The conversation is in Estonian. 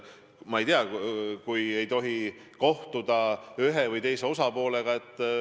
Ma ei tea, kui ei tohi kohtuda ühe või teise osapoolega ...